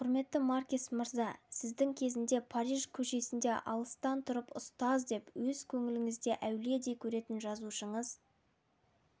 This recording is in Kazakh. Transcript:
құрметті маркес мырза сіздің кезінде париж көшесінде алыстан тұрып ұстаз деп өз көңіліңізде әулиедей көретін жазушыңыз